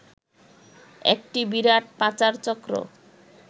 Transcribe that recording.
একটি বিরাট পাচার চক্র